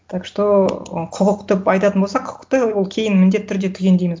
так что ы құқық деп айтатын болсақ құқықты ол кейін міндетті түрде түгендейміз